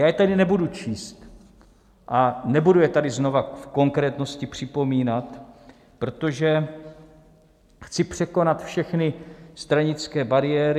Já je tady nebudu číst a nebudu je tady znova v konkrétnosti připomínat, protože chci překonat všechny stranické bariéry.